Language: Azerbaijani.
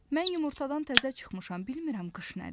Mən yumurtadan təzə çıxmışam, bilmirəm qış nədir.